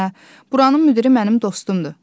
Hə, buranın müdiri mənim dostumdur.